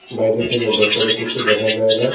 বাইরে থেকে ভেতরে কিছু দেখা যায় না।